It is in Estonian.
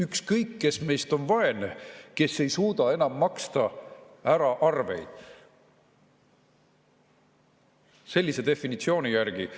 Ükskõik, kes meist on vaene, kes ei suuda enam maksta ära arveid – sellise definitsiooni järgi.